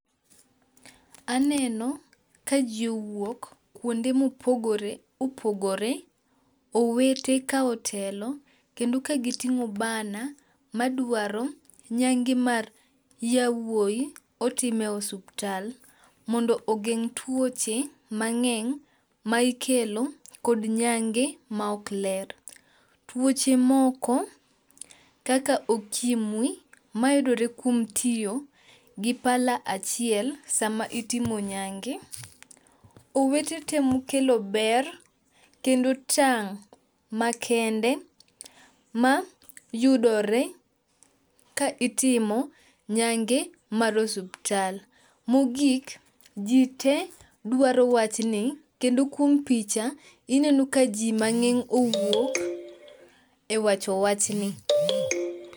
Aneno ka ji owuok kuonde mopogore opogore owete ka otelo kendo ka giting'o banner madwaro nyange mar yawuoyi otim e osuptal mondo ogeng' tuoche mang'eny ma ikelo kod nyange maok ler. Tuoche moko kaka okimwi mayudore kuom tiyo gi pala achiel sama itimo nyange. Owete temo kelo ber kendo tang' makende ma yudore ka itimo nyange mar osuptal. Mogik ji te dwaro wachni kendo kuom picha ineno ka ji mang'eng owuok e wacho wachni.